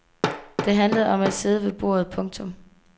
Det handlede om at sidde ved bordet. punktum